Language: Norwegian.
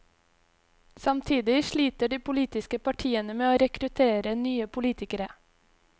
Samtidig sliter de politiske partiene med å rekruttere nye politikere.